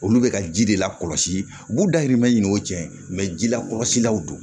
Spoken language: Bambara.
Olu bɛ ka ji de lakɔlɔsi u b'u dayirimɛ ɲini o tiɲɛ ji la kɔlɔsilaw don